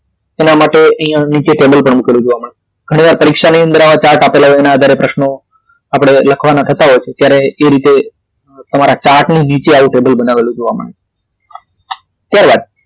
એના માટે અહી ટેબલ પર નીચે મૂકેલું જોવા મળે છે ઘણી વાર પરીક્ષાની અંદર આવા chart આપેલ હોવાના આધારે પ્રશ્નો આપડે લખવાના થતાં હોય છે ત્યારે એ રીતે તમારી chart ની નીચે આવું ટેબલ બનાવેલું જોવા મળે છે ત્યારબાદ